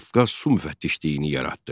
Qafqaz su müfəttişliyini yaratdı.